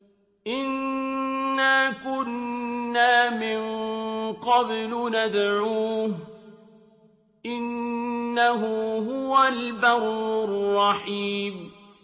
إِنَّا كُنَّا مِن قَبْلُ نَدْعُوهُ ۖ إِنَّهُ هُوَ الْبَرُّ الرَّحِيمُ